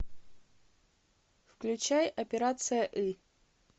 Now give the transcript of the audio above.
включай операция ы